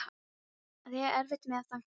Að eiga erfitt með að þagna